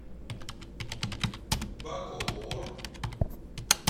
бакоор